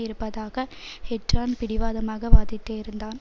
இருப்பதாக ஹெட்ரன் பிடிவாதமாக வாதிட்டு இருந்தான்